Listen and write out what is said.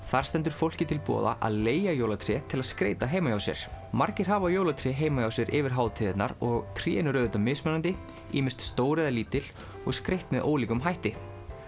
þar stendur fólki til boða að leigja jólatré til að skreyta heima hjá sér margir hafa jólatré heima hjá sér yfir hátíðarnar og trén eru auðvitað mismunandi ýmist stór eða lítil og skreytt með ólíkum hætti